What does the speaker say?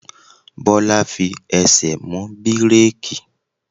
Bola fi ẹsẹ̀ mú bíréékì.